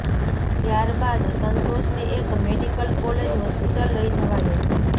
ત્યાર બાદ સંતોષને એક મેડિકલ કોલેજ હોસ્પિટલ લઈ જવાયો